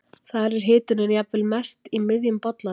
þar er hitunin jafnvel mest í miðjum bollanum